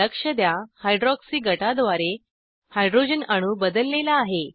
लक्ष द्या हायड्रॉक्सी गटाद्वारे हायड्रोजन अणू बदलेला आहे